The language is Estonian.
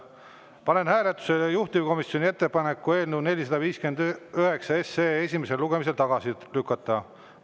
Panen hääletusele juhtivkomisjoni ettepaneku eelnõu 459 esimesel lugemisel tagasi lükata.